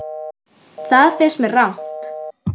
Það finnst mér rangt.